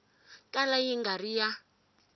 kala yi nga ri ya